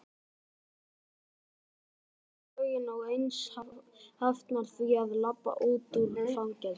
fræðin er slóttug einsog lögin og enginn hafnar því að labba út úr fangelsi.